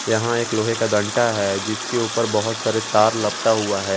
यहां एक लोहे का डंडा है जिसके ऊपर बहोत सारे तार लपटा हुआ हैं।